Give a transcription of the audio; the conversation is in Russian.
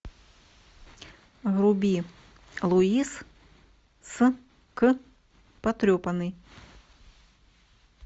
вруби луис с к потрепанный